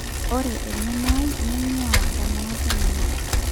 'Ore engeno ai neingua ndamunot ainei''.